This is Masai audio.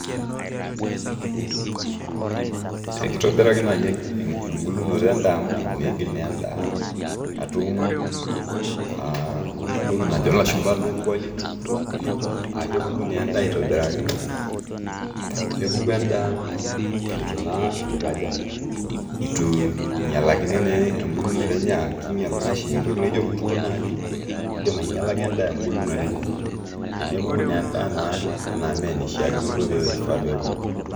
kitobiraki naaji ebulunoto edaa amu midim naaji atum entoki najo ilashumba low quality, nepuku edaa etu ingialakini ebulutoto enye amu kingial naa oshi entoki naji olkurto kidim aigialaki edaa ebulunoto enye nepuku naa edaa ime enaishaakino.